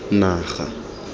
naga